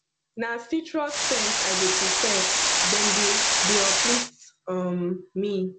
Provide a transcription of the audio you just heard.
na citrus scents i dey prefer dem dey dey uplift um me